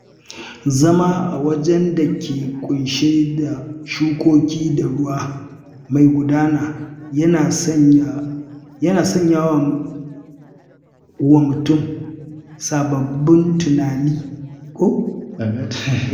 Zama a wajen da ke ƙunshe da shukoki da ruwa mai gudana yana sanya wa mutum sababbin tunani